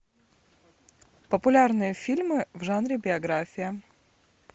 популярные фильмы в жанре биография